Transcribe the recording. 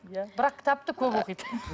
иә бірақ кітапты көп оқиды